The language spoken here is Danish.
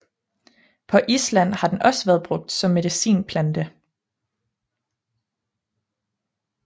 På Island har den også været brugt som medicinplante